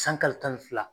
San kalo tan ni fila